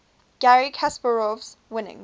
garry kasparov's winning